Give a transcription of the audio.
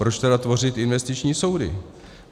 Proč tedy tvořit investiční soudy?